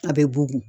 A bɛ bugun